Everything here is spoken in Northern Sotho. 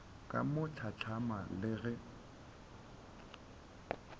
ka mo hlatlama le ge